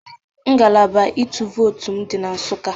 Ngalaba ịtụ vootu m dị na Nsụka